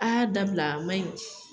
A y'a dabila a man ɲi.